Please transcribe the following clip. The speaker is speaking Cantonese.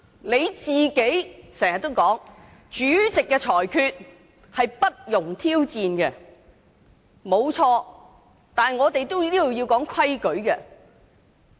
你經常說主席的裁決不容挑戰，這沒有錯，但這裏也有規矩。